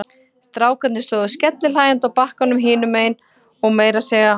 Strákarnir stóðu skellihlæjandi á bakkanum hinum megin og meira að segja